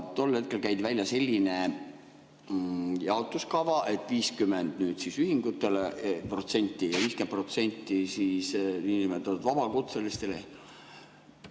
Tol hetkel käidi välja selline jaotuskava, et 50% ühingutele ja 50% niinimetatud vabakutselistele.